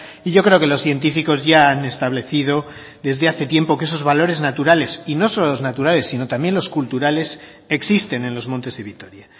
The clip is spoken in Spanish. y yo creo que los científicos ya han establecido desde hace tiempo que esos valores naturales y no solo los naturales sino también los culturales existen en los montes de vitoria